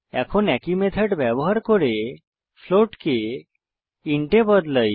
এখন একই মেথড ব্যবহার করে ফ্লোট কে ইন্ট এ বদলাই